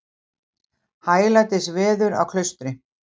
Hæglætis veður á Klaustri